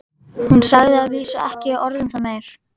Hún sagði að vísu ekki orð um það meir.